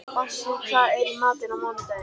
Bassí, hvað er í matinn á mánudaginn?